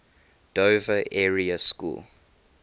dover area school